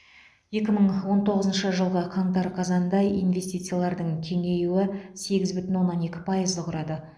екі мың он тоғызыншы жылғы қаңтар қазанда инвестициялардың кеңеюі сегіз бүтін оннан екі пайызды құрады